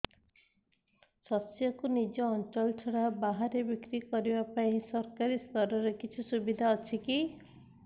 ଶସ୍ୟକୁ ନିଜ ଅଞ୍ଚଳ ଛଡା ବାହାରେ ବିକ୍ରି କରିବା ପାଇଁ ସରକାରୀ ସ୍ତରରେ କିଛି ସୁବିଧା ଅଛି କି